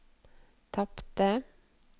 tapte